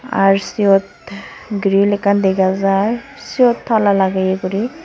Aar siyot grill ekkan dega jaar siyot tala lageye gori.